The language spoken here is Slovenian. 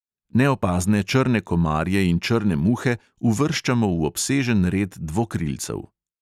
Neopazne črne komarje in črne muhe uvrščamo v obsežen red dvokrilcev.